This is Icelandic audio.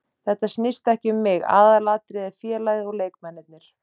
Þetta snýst ekki um mig, aðalatriðið er félagið og leikmennirnir.